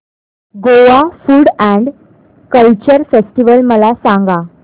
Goa food and culture festival मला सांगा